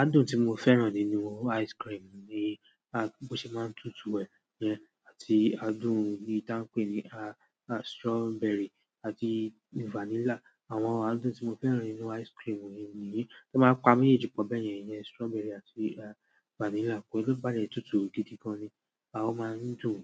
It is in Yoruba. Adùn tí mo fẹ́ràn nínú ice cream ni bó ṣe máa ń tutù wẹ̀ yẹn àti adùn tí a ń pè ní à, à strawberry àti vanilla. Àwọn adùn tí mo fẹ́ràn nínú ice cream ni èyí. Tan ba pa mejéèjì po bẹ́ẹ̀ yẹn yẹn, strawberry àti vanilla. Kò í lò bá le tutù gidi gan ni. A ó máa ń dùn,